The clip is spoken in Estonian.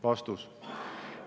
" Vastus.